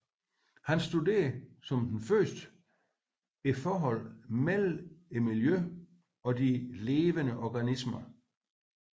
Han studerede som den første forholdene mellem miljøet og de levende organismer